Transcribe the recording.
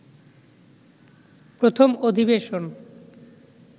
প্রথম অধিবেশন